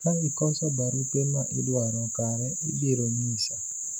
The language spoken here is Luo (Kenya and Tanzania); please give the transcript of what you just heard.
ka ikoso barupe ma idwaro kare ibiro nyisa